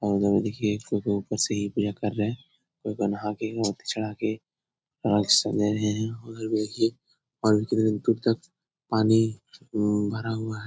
और उधर में देखिए कोई-कोई ऊपर से ही पूजा कर रहें हैं। कोई-कोई नहा के मोती चढ़ा के उधर देखिए और कितना दूर तक पानी उम्म भरा हुआ है।